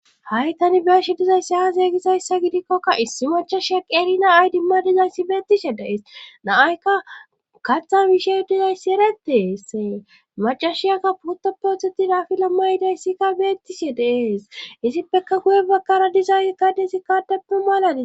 Hay tani beeshe dizayssi ha zeeygizayssa gidikkokka issi machashia qerina ay dimma dizayssi beettishe deees naayka katha bishey dizayssi ereteessee macashiyakka puttoppe othetidaafila ma yidayssikka bettishe deees isippeka kuye bakkara dizay gadesi kaadeppu maalades